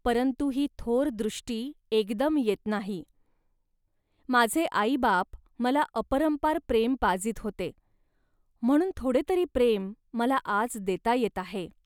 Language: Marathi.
परंतु ही थोर दृष्टी एकदम येत नाही. माझे आईबाप मला अपरंपार प्रेम पाजीत होते, म्हणून थोडेतरी प्रेम मला आज देता येत आहे